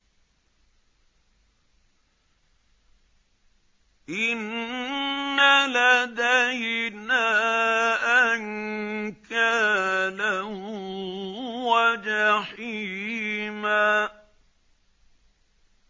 إِنَّ لَدَيْنَا أَنكَالًا وَجَحِيمًا